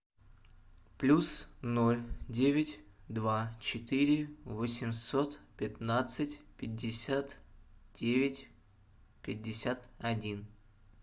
плюс ноль девять два четыре восемьсот пятнадцать пятьдесят девять пятьдесят один